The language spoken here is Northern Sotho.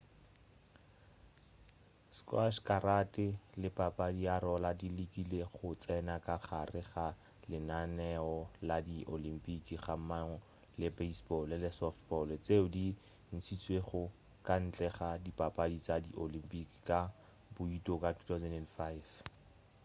sqash karate le papadi ya roller di lekile go tsena ka gare ga lenaneo la di olympic gammogo le baseball le softball tšeo di ntšhitšwego ka ntle ga dipapadi tša di olympic ka bouto ka 2005